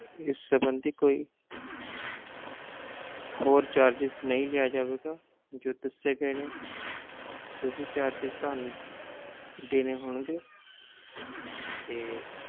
ਇਸ ਸਬੰਧੀ ਕੋਈ ਹੋਰ charges ਨਹੀਂ ਲਿਆ ਜਾਵੇਗਾ ਜੋ ਦੱਸੇ ਗਏ ਨੇ ਓਹੀ charges ਤੁਹਾਨੂੰ ਦੇਣੇ ਹੋਣਗੇ ਤੇ